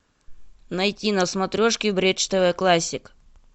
найти на смотрешке бридж тв классик